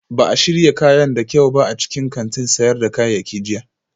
Ba a shirya kayan da kyau ba a cikin kantin sayar da kayayyaki jiya